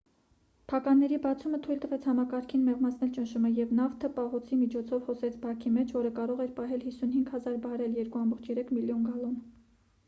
փականների բացումը թույլ տվեց համակարգին մեղմացնել ճնշումը և նավթը պահոցի միջով հոսեց բաքի մեջ որը կարող էր պահել 55,000 բարել 2,3 միլիոն գալոն: